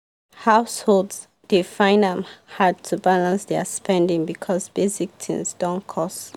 households dey find am hard to balance their spending because basic things don cost.